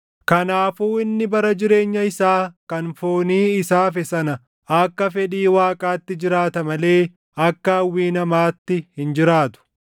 Kanaafuu inni bara jireenya isaa kan foonii isa hafe sana akka fedhii Waaqaatti jiraata malee akka hawwii namaatti hin jiraatu.